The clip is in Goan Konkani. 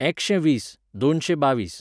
एकशें वीस, दोनशें बावीस